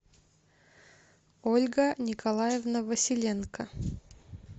ольга николаевна василенко